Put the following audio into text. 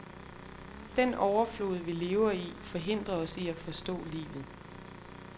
Den overflod vi lever i, forhindrer os i at forstå livet.